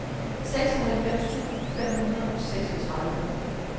seksoghalvfems tusind fem hundrede og seksogtredive